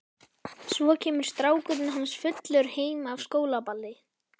Svo kemur strákurinn hans fullur heim af skólaballi.